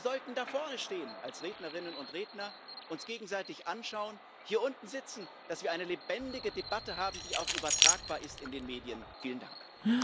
Wir sollten da vorne stehen als Rednerinnen und Redner, uns gegenseitig anschauen, hier unten sitzen, dass wir eine lebendige Debatte haben, die auch in den Medien übertragbar ist.